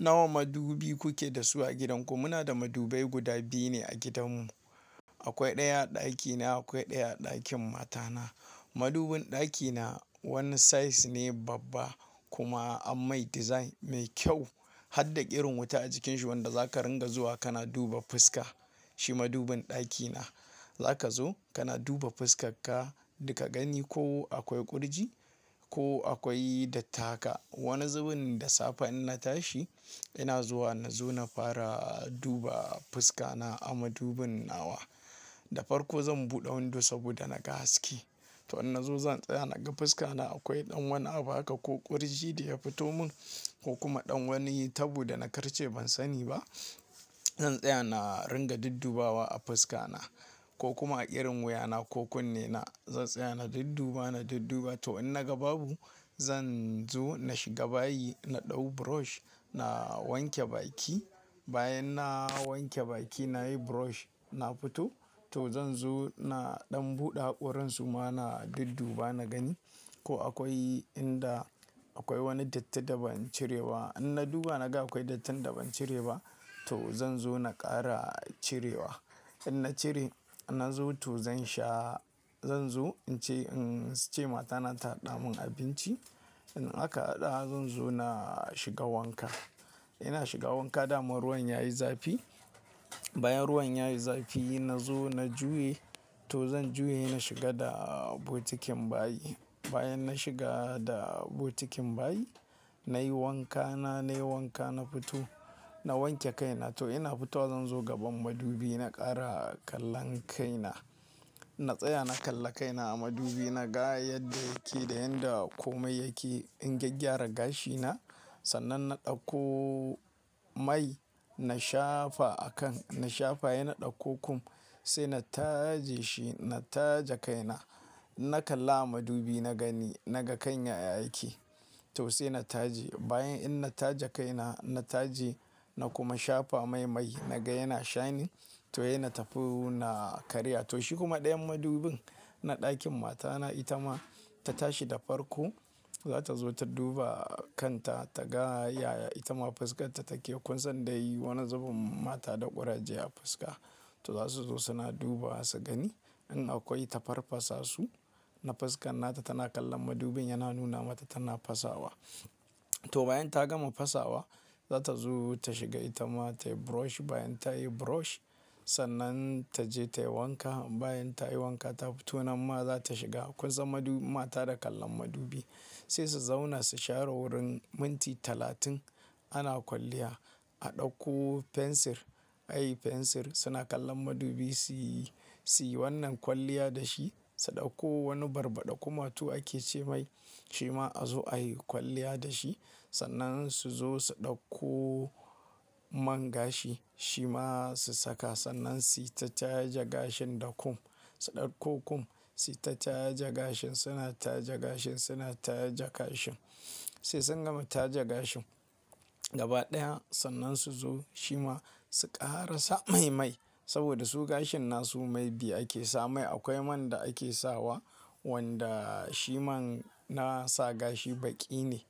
Nawa madubi kuke da su a gidanku? Muna da madubai guda biyu ne a gidanmu. Akwai ɗaya a ɗakina, akwai ɗaya a ɗakin matana. Madubin ɗakina, wani size ne babba, kuma an mai design mai kyau. Har da irin wuta a cikin shi wanda zaka ringa zuwa kana duba fuska, shi madubin ɗakina. Zaka zo kana duba fuskarka, duka gani ko akwai kurji ko akwai datti ka. Wani zubin da safe in na tashi, ina zuwa na zo na fara duba fuska na a madubin nawa. Da farko zan buɗe window saboda na ga haske. To, in na zo zan tsaya naga fuska na akwai ɗan wani abu haka, ko ƙurji da ya fito mun, ko kuma ɗan wani taɓo da na karce ban sani ba. Zan tsaya na ringa duddubawa a fuska na, ko kuma irin wuya na ko kunne na. Zan tsaya na dudduba, na dudduba to in naga babu, zan zo na shiga bayi na ɗau brush na wanke baki. Bayan na wanke baki, na yi brosh, na fito. To, zan zo na ɗan buɗe hakoran su ma na dudduba na gani, ko akwai inda akwai wani datti da ban cire ba. In na duba naga akwai dattin da ban cire ba, to zan zo na ƙara cirewa. In na cire, na zo to zan sha, zan zo in ce, in ce matana ta haɗa min abinci. In aka haɗa zan zo na shiga wanka. Ina shiga wanka dama ruwan yayi zafi. Bayan ruwan yayi zafi na zo na juya. To zan juye ne in shiga da bokitin bayi. Bayan na shiga da bokitin bayi, na yi wanka na, na yi wanka na fito, na wanke kaina. To ina fitowa, zan zo gaban madubi na ƙara kallon kaina. Na tsaya na kalla kaina a madubi naga yadda yake da yanda komai yake. In gyaggyara gashina, sannan na ɗauko mai na shafa a kan. Na shafa, sai na ɗauko kum sai na taje shi, na taje kaina. Na kalla a madubi na gani, naga ƙan ya-ya yake. To sai na taje. Bayan in na taje kaina, in na taje, na kuma shafa mai mai naga yana shining. To sai na ta fi na karya. To shi kuma ɗayan madubin na ɗakin matana ita ma ta tashi da farko. Za ta zo ta duba kanta ta ga ya, ita ma fuskarta take kunsa dai wani zubin mata da ƙuraje a fuska. To za su zo suna duba su gani, in akwai ta farfasasu na fuskan nata tana kallon madubin yana nuna mata tana fasawa. To bayan ta gama fasawa, za ta zo ta shiga ita ma tayi brosh. Bayan ta yi brosh sannan taje tayi wanka. Bayan ta yi wanka ta fito nan ma za ta shiga kunsa madu, mata da kallon madubi. Sai su zauna su shara wurin minti talatin. Ana kwalliya, a ɗauko fensir, ai fensir suna kallon madubi suyi, suyi wannan kwalliya da shi. Su ɗauko wani barbaɗa kumatu ake ce mai shi ma a zo ayi kwalliya da shi. Sannan su zo su ɗauko man gashi shi ma su saka, sannan suyi ta taje gashin da kum. Su ɗauko kum suyi ta taje gashin, suna taje gashin, suna taje gashin. Sai sun gama taje gashin gaba ɗaya, sannan su zo shi ma su ƙara sa mai mai. Saboda su gashin na su mai biyu ake sa mai. Akwai man da ake sawa, wanda shi man na sa gashi baki ne.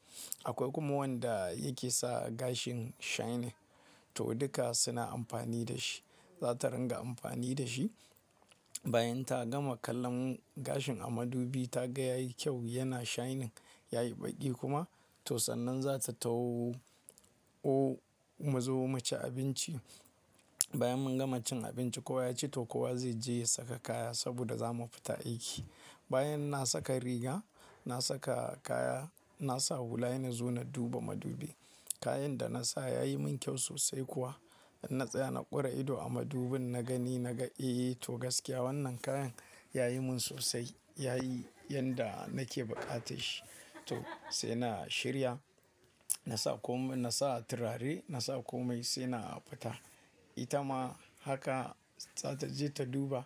Akwai kuma wanda yake sa gashin shining. To duka suna amfani da shi, za ta ringa amfani da shi. Bayan ta gama kallon gashin a madubi ta ga yayi kyau yana shining, yayi baki kuma to sannan za ta tafi. Mu zo mu ci abinci. Bayan mun gama cin abinci kowa ya ci to kowa zai je ya saka kaya saboda za mu fita aiki. Bayan na saka riga, na saka kaya, na sa hula ina zuwa na duba madubi. Kayan da na sa yayi mun kyau sosai kuwa. In na tsaya na ƙura ido a madubin na gani naga eh to, gaskiya wannan kayan yayi mun sosai yayi yanda nake buƙatar shi. To sai na shirya, na sa kom, na sa turare na sa komai sai na fita. Ita ma haka za ta je ta duba,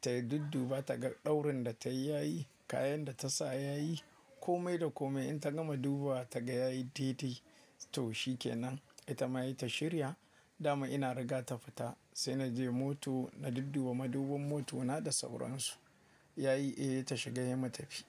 tayi dudduba ta ga ɗaurin da tayi yayi, kayan da ta sa yayi. Komai da komai in ta gama duba ta ga yayi dede, to shi ke nan. Ita ma tayi ta shirya, dama ina riga ta fita. Sai na je mota na dudduba maduban motona da sauran su. Yayi eh, ta shiga ya matafi.